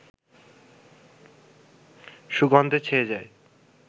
সুগন্ধে ছেয়ে যায়